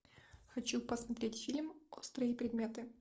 хочу посмотреть фильм острые предметы